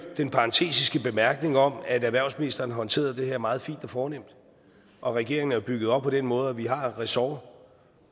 den parentetiske bemærkning om at erhvervsministeren håndterede det her meget fint og fornemt regeringen er jo bygget op på den måde at vi har et ressort